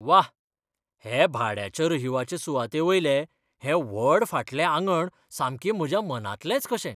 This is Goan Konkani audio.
वा!, हे भाड्याच्या रहिवाचे सुवातेवयलें हें व्हड फाटलें आंगण सामकें म्हज्या मनांतलेंच कशें!